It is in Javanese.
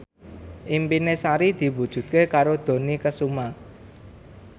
impine Sari diwujudke karo Dony Kesuma